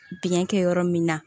Biɲɛ kɛ yɔrɔ min na